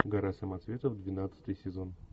гора самоцветов двенадцатый сезон